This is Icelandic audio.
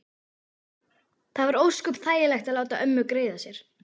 Það var ósköp þægilegt að láta ömmu greiða sér.